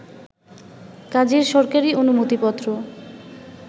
কাজের সরকারি অনুমতিপত্র